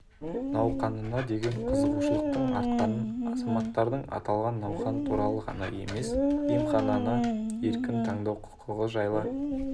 науқанына деген қызығушылықтың артқанын азаматтардың аталған науқан туралы ғана емес емхананы еркін таңдау құқығы жайлы